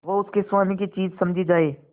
वह उसके स्वामी की चीज समझी जाए